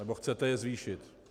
Nebo chcete je zvýšit.